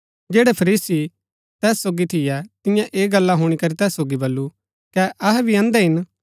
जैड़ै फरीसी तैस सोगी थियै तियें ऐह गल्ला हुणी करी तैस सोगी बल्लू कै अहै भी अंधे हिन